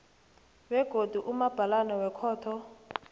begodu umabhalana wekhotho